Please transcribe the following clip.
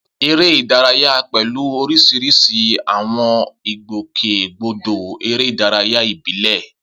Eré ìdárayá pẹ̀lú oríṣiríṣi àwọn ìgbòkègbodò eré ìdárayá ìbílẹ̀.